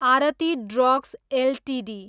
Aarti Drugs Ltd